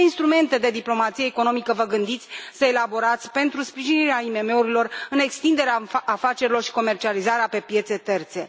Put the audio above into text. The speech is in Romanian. Ce instrumente de diplomație economică vă gândiți să elaborați pentru sprijinirea IMM urilor în extinderea afacerilor și comercializarea pe piețe terțe?